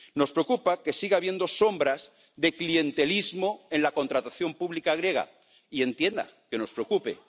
Nos preocupa que siga habiendo sombras de clientelismo en la contratación pública griega, y entienda que nos preocupe.